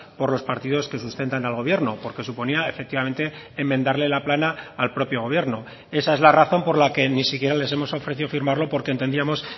por los partidos que sustentan al gobierno porque suponía efectivamente enmendarle la plana al propio gobierno esa es la razón por la que ni siquiera les hemos ofrecido firmarlo porque entendíamos